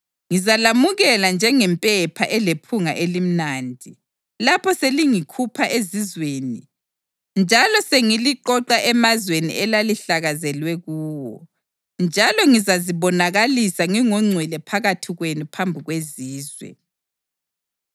Ngizalamukela njengempepha elephunga elimnandi lapho sengilikhupha ezizweni njalo sengiliqoqa emazweni elalihlakazelwe kuwo, njalo ngizazibonakalisa ngingongcwele phakathi kwenu phambi kwezizwe.